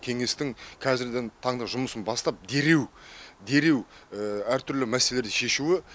кеңестің қазіргі таңда жұмысын бастап дереу дереу әртүрлі мәселелерді шешуі